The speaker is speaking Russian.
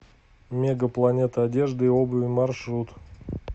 мега планета одежды и обуви маршрут